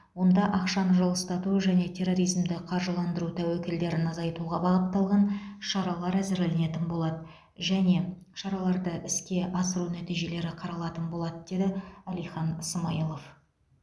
онда ақшаны жылыстату және терроризмді қаржыландыру тәуекелдерін азайтуға бағытталған шаралар әзірленетін болады және шараларды іске асыру нәтижелері қаралатын болады деді әлихан смайылов